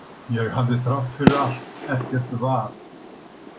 Ég hafði þrátt fyrir allt ekkert val.